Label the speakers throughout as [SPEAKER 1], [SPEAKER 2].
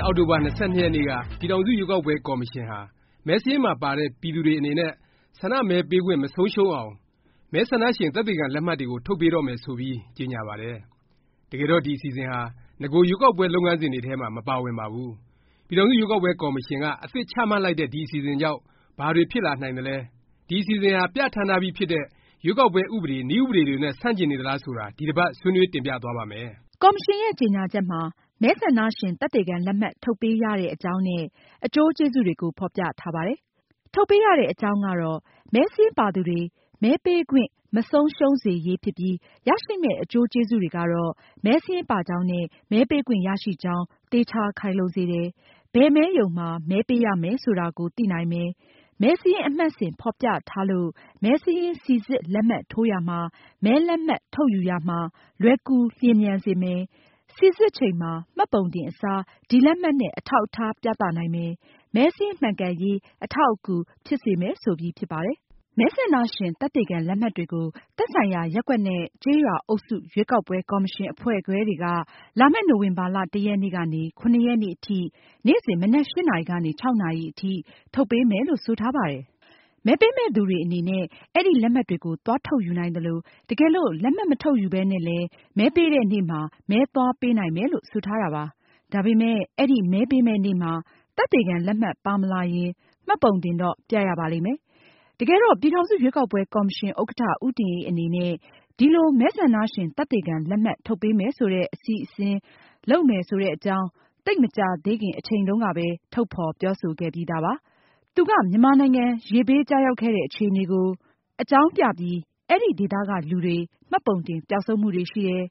[SPEAKER 1] ့ အောက်တိုဘာ ၂၂ ရက်နေ့က ပြည်ထောင်စု ရွေးကောက်ပွဲ ကော်မရှင်ဟာ မဲစာရင်းမှာ ပါတဲ့ ပြည်သူတွေ အနေနဲ့ ဆန္ဒမဲပေးခွင့် မဆုံးရှုံးအောင် “မဲဆန္ဒရှင် သက်သေခံ လက်မှတ်”တွေကို ထုတ်ပေးတော့မယ် ဆိုပြီး ကြေငြာပါတယ်။ တကယ်တော့ ဒီ အစီအစဉ်ဟာ နဂို ရွေးကောက်ပွဲ လုပ်ငန်းစဉ်တွေထဲမှာ မပါဝင်ပါဘူး။ ပြည်ထောင်စု ရွေးကောက်ပွဲ ကော်မရှင်က အသစ် ချမှတ်လိုက်တဲ့ ဒီ အစီအစဉ်ကြောင့် ဘာတွေ ဖြစ်လာနိုင်သလဲ၊ ဒီ အစီအစဉ်ဟာ ပြဌာန်းထားပြီးဖြစ်တဲ့ ရွေးကောက်ပွဲ ဥပဒေ၊ နည်းဥပဒေ နဲ့ ဆန့်ကျင်နေသလား ဆိုတာ ဒီတစ်ပါတ် ဆွေးနွေး တင်ပြသွားပါ့မယ်
[SPEAKER 2] ။ ကော်မရှင်ရဲ့ ကြေငြာချက်မှာ မဲဆန္ဒရှင် သက်သေခံ လက်မှတ် ထုတ်ပေးရတဲ့ အကြောင်းနဲ့ အကျိုးကျေးဇူးတွေကို ဖော်ပြထားပါတယ်။ ထုတ်ပေးရတဲ့ အကြောင်းကတော့ မဲစာရင်းပါသူတွေ မဲပေးခွင့် မဆုံးရှုံးစေရေး ဖြစ်ပြီး ရရှိမယ့် အကျိုးကျေးဇူးတွေကတော့ မဲစာရင်းပါကြောင်းနဲ့ မဲပေးခွင့် ရရှိကြောင်း သေခြာခိုင်လုံစေတယ်၊ ဘယ်မဲရုံမှာ မဲပေးရမယ် ဆိုတာကို သိနိုင်မယ်၊ မဲစာရင်း အမှတ်စဉ် ဖော်ပြထားလို့ မဲစာရင်း စိစစ်လက်မှတ်ထိုးရာမှာ၊ မဲလက်မှတ် ထုတ်ယူရာမှာ လွယ်ကူလျင်မြန်စေမယ်၊ စိစစ်ချိန်မှာ မှတ်ပုံတင် အစား ဒီလက်မှတ်နဲ့ အထောက်အထား ပြသနိုင်မယ်၊ မဲစာရင်း မှန်ကန်ရေး အထောက်အကူ ဖြစ်စေမယ် ဆိုပြီး ဖြစ်ပါတယ်။ မဲဆန္ဒရှင် သက်သေခံ လက်မှတ်တွေကို သက်ဆိုင်ရာ ရပ်ကွက်နဲ့ ကျေးရွာ အုပ်စု ရွေးကောက်ပွဲ ကော်မရှင် အဖွဲ့ခွဲတွေက လာမယ့် နိုဝင်ဘာ ၁ ရက်နေ့ကနေ ၇ ရက်နေ့အထိ နေ့စဉ် မနက် ၈ နာရီ ကနေ ညနေ ၆ နာရီအထိ ထုတ်ပေးမယ်လို့ ဆိုထားပါတယ်။ မဲပေးမယ့်သူတွေ အနေနဲ့ အဲဒီ လက်မှတ်တွေကို သွားထုတ်ယူနိုင်သလို၊ တကယ်လို့ လက်မှတ် မထုတ်ယူပဲနဲ့လည်း မဲပေးတဲ့နေ့မှာ မဲသွားပေးနိုင်မယ် လို့ ဆိုထားပါတယ်။ ဒါပေမယ့် အဲဒီမဲပေးမယ့်နေ့မှာ သက်သေခံ လက်မှတ် ပါမလာရင် မှတ်ပုံတင်တော့ ပြရပါလိမ့်မယ်။ တကယ်တော့ ပြည်ထောင်စု ရွေးကောက်ပွဲ ကော်မရှင် ဥက္ကဌ ဦးတင်အေး အနေနဲ့ ဒီလို မဲဆန္ဒရှင် သက်သေခံ လက်မှတ် ထုတ်ပေးမယ် ဆိုတဲ့ အစီအစဉ် လုပ်မယ် ဆိုတဲ့အကြောင်း သိပ်မကြာသေးခင် အချိန်တုန်းကပဲ ထုတ်ဖော် ပြောဆိုခဲ့ပြီးသားပါ။ သူက မြန်မာနိုင်ငံ ရေဘေး ကျရောက်ခဲ့တဲ့ အခြေအနေကို အကြောင်းပြပြီး အဲဒီ ဒေသက လူတွေ မှတ်ပုံတင် ပျောက်ဆုံးမှုတွေ ရှိတယ်၊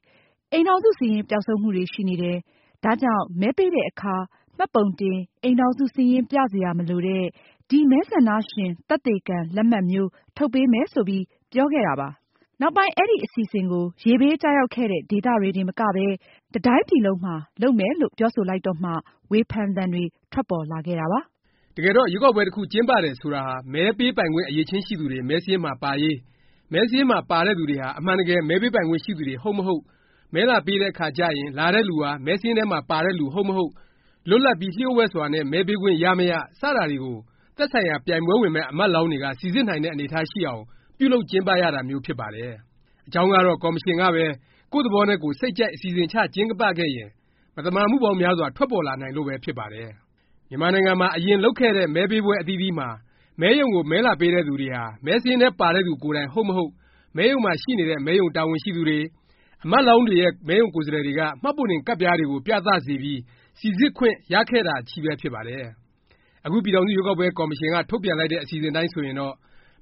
[SPEAKER 2] အိမ်ထောင်စု စာရင်း ပျောက်ဆုံးမှုတွေ ရှိနေတယ်၊ ဒါကြောင့် မဲပေးတဲ့အခါ မှတ်ပုံတင်၊ အိမ်ထောင်စု စာရင်း ပြစရာ မလိုတဲ့ ဒီ မဲဆန္ဒရှင် သက်သေခံ လက်မှတ်မျိုး ထုတ်ပေးမယ် ဆိုပြီး ပြောခဲ့တာ ဖြစ်ပါတယ်။ နောက်ပိုင်း အဲဒီ အစီအစဉ်ကို ရေဘေး ကျရောက်ခဲ့တဲ့ ဒေသတွေတင် မကပဲ တစ်တိုင်းပြည်လုံးမှာ လုပ်မယ်လို့ ပြောဆိုလိုက်တော့မှ ဝေဖန်သံတွေ ထွက်ပေါ်လာခဲ့တာ ဖြစ်ပါတယ်။
[SPEAKER 1] တကယ်တော့ ရွေးကောက်ပွဲ တစ်ခု ကျင်းပတယ် ဆိုတာဟာ မဲပေးပိုင်ခွင့် အရည်အချင်းရှိသူတွေ မဲစာရင်းမှာ ပါရေး၊ မဲစာရင်းမှာ ပါတဲ့သူတွေဟာ အမှန်တကယ် မဲပေးပိုင်ခွင့် ရှိသူတွေ ဟုတ်မဟုတ်၊ မဲလာပေးတဲ့ အခါကျရင် လာတဲ့သူဟာ မဲစာရင်းထဲမှာ ပါတဲ့ လူ ဟုတ်မဟုတ်၊ လွတ်လပ်ပြီး လျှို့ဝှက်စွာနဲ့ မဲပေးခွင့် ရမရ၊ စတာတွေကို သက်ဆိုင်ရာ ပြိုင်ပွဲဝင်မယ့် အမတ်လောင်းတွေက စိစစ်နိုင်တဲ့ အနေအထား ရှိအောင် ပြုလုပ် ကျင်းပရတာမျိုး ဖြစ်ပါတယ်။ အကြောင်းကတော့ ကော်မရှင်ကပဲ ကိုယ့်သဘောနဲ့ကိုယ် စိတ်ကြိုက် အစီအစဉ်ချ ကျင်းပခဲ့ရင် မသမာမှုပေါင်းများစွာ ထွက်ပေါ်လာနိုင်လို့ပဲ ဖြစ်ပါတယ်။ မြန်မာနိုင်ငံမှာ အရင် လုပ်ခဲ့တဲ့ မဲပေးပွဲ အသီးသီးမှာ မဲရုံကို မဲလာပေးတဲ့သူတွေဟာ မဲစာရင်းထဲ ပါတဲ့သူ ကိုယ်တိုင် ဟုတ်မဟုတ် မဲရုံမှာ ရှိနေတဲ့ မဲရုံတာဝန်ရှိသူတွေ၊ အမတ်လောင်းတွေရဲ့ မဲရုံကိုယ်စားလှယ်တွေက မှတ်ပုံတင် ကဒ်ပြားတွေကို ပြသစေပြီး စိစစ်ခွင့် ရခဲ့ကြတာချည်း ဖြစ်ပါတယ်။ အခု ပြည်ထောင်စု ရွေးကောက်ပွဲ ကော်မရှင်က ထုတ်ပြန်လိုက်တဲ့ အစီအစဉ် အတိုင်း ဆိုရင်တော့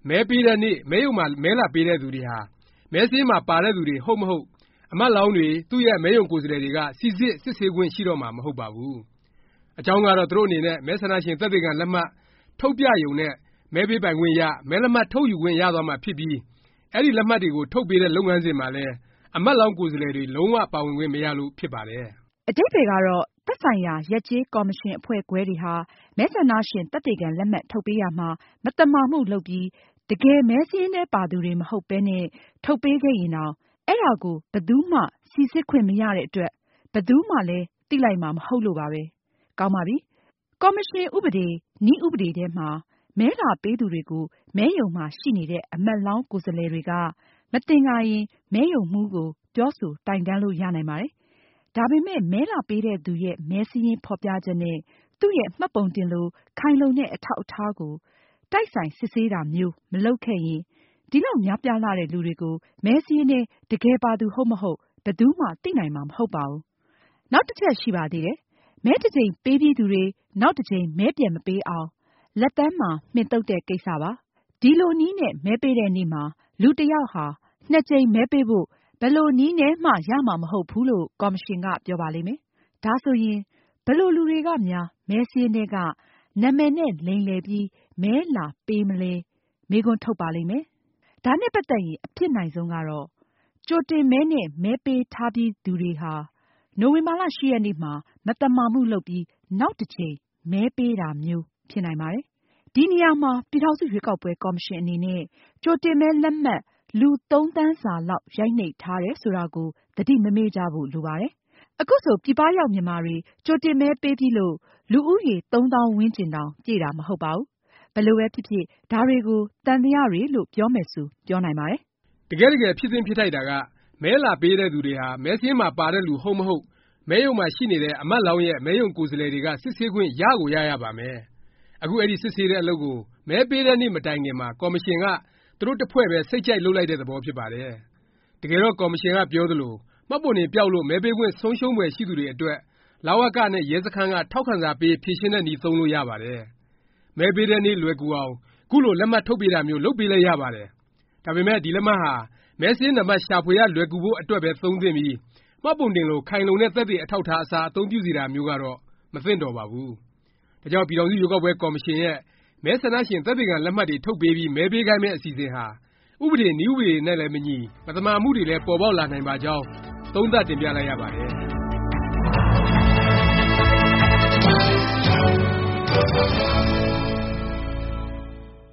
[SPEAKER 1] မဲပေးတဲ့နေ့၊ မဲရုံမှာ မဲလာပေးတဲ့ သူတွေဟာ မဲစာရင်းမှာ ပါတဲ့ သူတွေ ဟုတ်မဟုတ် အမတ်လောင်းတွေ၊ သူ့ရဲ့ မဲရုံကိုယ်စားလှယ်တွေက စိစစ် စစ်ဆေးခွင့် ရှိတော့မှာ မဟုတ်တော့ပါဘူး။ အကြောင်းကတော့ သူတို့အနေနဲ့ မဲဆန္ဒရှင် သက်သေခံ လက်မှတ် ထုတ်ပြရုံနဲ့ မဲပေးပိုင်ခွင့် ရ၊ မဲလက်မှတ် ထုတ်ခွင့်ရသွားမှာ ဖြစ်ပြီး အဲဒီ လက်မှတ်တွေကို ထုတ်ပေးတဲ့ လုပ်ငန်းစဉ်မှာလည်း အမတ်လောင်း ကိုယ်စားလှယ်တွေ လုံး၀ ပါဝင်ခွင့် မရလို့ ဖြစ်ပါတယ်
[SPEAKER 2] ။ အဓိပ္ပါယ်ကတော့ သက်ဆိုင်ရာ ရပ်ကျေး ကော်မရှင် အဖွဲ့ခွဲတွေဟာ မဲဆန္ဒရှင် သက်သေခံ လက်မှတ် ထုတ်ပေးရာမှာ မသမာမှု လုပ်ပြီး တကယ် မဲစာရင်းထဲ ပါသူတွေ မဟုတ်ပဲနဲ့ ထုတ်ပေးခဲ့ရင်တောင် အဲဒါကို ဘယ်သူမှ စိစစ်ခွင့်မရတဲ့အတွက် ဘယ်သူမှလည်း သိလိုက်မှာ မဟုတ်လို့ပါပဲ။ ကောင်းပါပြီ။ ကော်မရှင် ဥပဒေ နည်းဥပဒေထဲမှာ မဲလာပေးသူတွေကို မဲရုံမှာ ရှိနေတဲ့ အမတ်လောင်း ကိုယ်စားလှယ်တွေက မသင်္ကာရင် မဲရုံမှူးကို ပြောဆို တိုင်တန်းလို့ ရနိုင်ပါတယ်။ ဒါပေမယ့် မဲလာပေးတဲ့သူရဲ့ မဲစာရင်း ဖော်ပြချက်နဲ့ သူ့ရဲ့ မှတ်ပုံတင်လို ခိုင်လုံတဲ့ အထောက်အထား ကို တိုက်ဆိုင် စစ်ဆေးတာမျိုး မလုပ်ခဲ့ရင် ဒီလောက် များပြားလှတဲ့ လူတွေကို မဲစာရင်းထဲ တကယ်ပါသူ ဟုတ်မဟုတ် ဘယ်သူမှ သိနိုင်မှာ မဟုတ်ပါဘူး။ နောက်တစ်ချက် ရှိပါသေးတယ်။ မဲတစ်ကြိမ် ပေးပြီးသူတွေ နောက် တစ်ကြိမ် မဲပြန်မပေးအောင် လက်သန်းမှာ မှင်သုတ်တဲ့ ကိစ္စဖြစ်ပါတယ်။ ဒီလိုနည်းနဲ့ မဲပေးတဲ့နေ့မှာ လူတစ်ယောက်ဟာ နှစ်ကြိမ် မဲပေးဖို့ ဘယ်လိုနည်းနဲ့မှ ရမှာ မဟုတ်ဘူးလို့ ကော်မရှင်က ပြောပါလိမ့်မယ်။ ဒါဆိုရင် ဘယ်လို လူတွေကများ မဲစာရင်းထဲက နာမည်နဲ့ လိမ်လည်ပြီး မဲလာပေးမလဲ မေးခွန်း ထုတ်ပါလိမ့်မယ်။ ဒါနဲ့ ပါတ်သက်ရင် အဖြစ်နိုင်ဆုံးကတော့ ကြိုတင်မဲနဲ့ မဲပေးထားပြီးသူတွေဟာ နိုဝင်ဘာ ၈ ရက်နေ့မှာ မသမာမှုလုပ်ပြီး နောက်တစ်ကြိမ် မဲပေးတာမျိုး ဖြစ်နိုင်ပါတယ်။ ဒီနေရာမှာ ပြည်ထောင်စု ရွေးကောက်ပွဲ ကော်မရှင် အနေနဲ့ ကြိုတင်မဲလက်မှတ် လူ ၃ သန်းစာလောက် ရိုက်နှိပ်ထားတယ် ဆိုတာကို သတိမမေ့ကြဖို့ လိုပါတယ်။ ခုဆို ပြည်ပရောက် မြန်မာတွေ ကြိုတင်မဲပေးပြီးလို့ လူဦးရေ ၃ သောင်းဝန်းကျင် တောင် ပြည့်တာ မဟုတ်ပါဘူး။ ဘယ်လိုပဲဖြစ်ဖြစ် ဒါတွေကို သံသယ တွေလို့ ပြောမယ်ဆို ပြောနိုင်ပါတယ်
[SPEAKER 1] ။ တကယ့်တကယ် ဖြစ်သင့်ဖြစ်ထိုက်တာက မဲလာပေးသူတွေဟာ မဲစာရင်းမှာ ပါတဲ့သူ ဟုတ်မဟုတ် မဲရုံမှာ ရှိနေတဲ့ အမတ်လောင်းရဲ့ မဲရုံ ကိုယ်စားလှယ်တွေ စစ်ဆေးခွင့် ရကို ရရပါမယ်။ အခု အဲဒီ စစ်ဆေးတဲ့ အလုပ်ကို မဲပေးတဲ့နေ့ မတိုင်ခင်မှာ ကော်မရှင်က သူတို့ တစ်ဖွဲ့ပဲ စိတ်ကြိုက် လုပ်လိုက်တဲ့ သဘောဖြစ်ပါတယ်။ တကယ်တော့ ကော်မရှင်က ပြောသလို မှတ်ပုံတင်ပျောက်လို့ မဲပေးခွင့် ဆုံးရှုံးဖွယ်ရှိသူတွေအတွက် လဝက နဲ့ ရဲစခန်းက ထောက်ခံစာပေး ဖြေရှင်းတဲ့နည်း သုံးလို့ ရပါတယ်။ မဲပေးတဲ့နေ့ လွယ်ကူအောင် ခုလို လက်မှတ်ထုတ်ပေးတာမျိုး လုပ်ပေးလည်း ရပါတယ်။ ဒါပေမယ့် ဒီလက်မှတ်ဟာ မဲစာရင်းနံပတ် ရှာဖွေရ လွယ်ကူဖို့ အတွက်ပဲ သုံးသင့်ပြီး မှတ်ပုံတင်လို ခိုင်လုံတဲ့ သက်သေ အထောက်အထား အစား အသုံးပြုစေတာမျိုးကတော့ မသင့်တော်ပါဘူး။ ဒါကြောင့် ပြည်ထောင်စု ရွေးကောက်ပွဲ ကော်မရှင်ရဲ့ မဲဆန္ဒရှင် သက်သေခံ လက်မှတ်တွေ ထုတ်ပေးပြီး မဲပေးခိုင်းမယ့် အစီအစဉ်ဟာ ဥပဒေ နည်းဥပဒေ နဲ့လည်း မညီ၊ မသမာမှုတွေလည်း ပေါ်ပေါက်လာနိုင်ပါကြောင်း သုံးသပ်တင်ပြလိုက်ရပါတယ်။